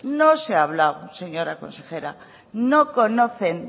no se ha hablado señora consejera no conocen